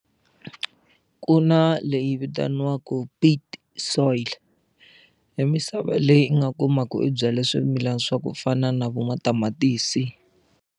Ku na leyi vitaniwaka pit soil i misava leyi i nga kumaka u byala swimilana swa ku fana na vo matamatisi.